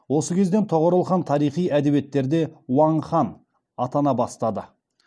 осы кезден тоғорыл хан тарихи әдебиеттерде уаң хан атана бастады